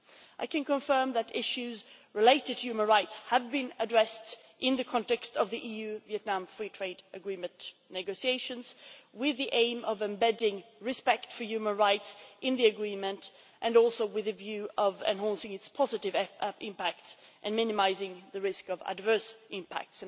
I can confirm that issues relating to human rights have been addressed in the context of the EU Vietnam Free Trade Agreement negotiations, with the aim of embedding respect for human rights in the agreement, and also with a view to enhancing its positive impact and minimising the risk of adverse impacts.